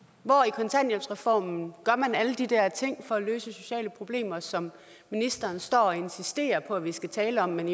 hvor i kontanthjælpsreformen gør man alle de der ting for at løse sociale problemer som ministeren står og insisterer på at vi skal tale om men